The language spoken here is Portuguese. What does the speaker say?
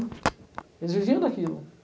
Eles viviam daquilo.